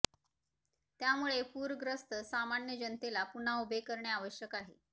त्यामुळे पूरग्रस्त सामान्य जनतेला पुन्हा उभे करणे आवश्यक आहे